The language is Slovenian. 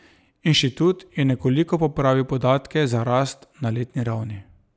Inštitut je nekoliko popravil podatke za rast na letni ravni.